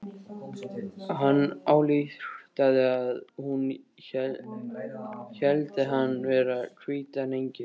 Hann ályktaði að hún héldi hann vera hvítan engil.